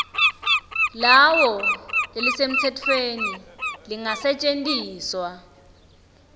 lawo lelisemtsetfweni lelingasetjentiswa